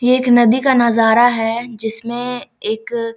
ये एक नदी का नजारा है जिसमे एक --